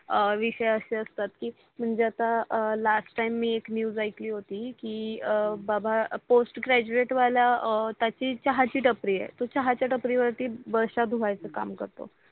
विषय असे असतात की म्हणजे आता LAST TIME एक न्यूज आली होती की बाबा पोस्ट ग्रॅजुएटवाला त्याची चहाची टपरी आहे. तो चहाच्या टपरीवर ती बसहा धूवयाच काम करतो.